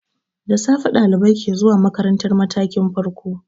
Da safe ɗalibai ke zuwa makarantar matakin farko.